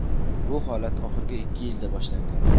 Bu holat oxirgi ikki yilda boshlangan.